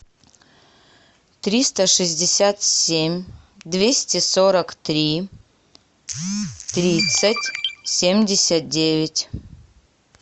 триста шестьдесят семь двести сорок три тридцать семьдесят девять